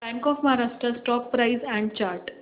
bank of Maharashtra stock price and chart